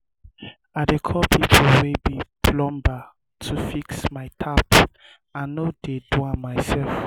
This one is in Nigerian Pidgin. i dey call pipo wey be plumber to fix my tap i no dey do am mysef.